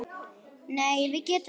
Nei, við getum það ekki.